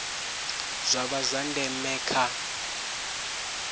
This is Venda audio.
zwa vha zwa ndeme kha